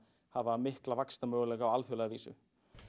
hafa mikla vaxtarmöguleika á alþjóðlega vísu